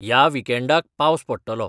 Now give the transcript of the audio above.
ह्या विकेंडाक पावस पडटलो